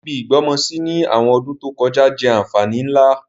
Ibi ìgbọ́mọsí ni àwọn ọdún to kojá jẹ́ ànfàní nlá.